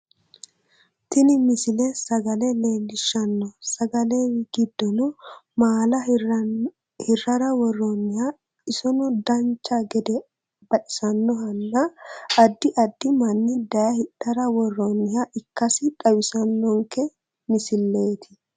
Tini misile sagale leellishshanno sagaletw giddono maala hirrara worroonniha isono danchea gede baxisannohanna addi addi manni daye hidhara worroonniha ikkasi xawissannonke misileeti